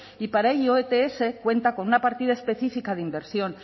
y para ello ets cuenta con una partida específica de inversión